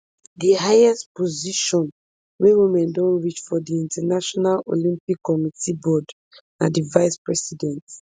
di highest position wey women don reach for di international olympic committee board na di vicepresident